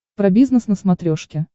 про бизнес на смотрешке